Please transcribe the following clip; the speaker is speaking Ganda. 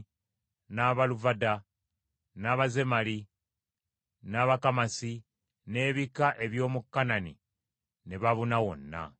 n’Abaluvada, n’Abazemali, n’Abakamasi n’ebika eby’omu Kanani ne babuna wonna.